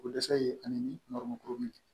Ko dɛsɛ ye ani n balimamuso min ye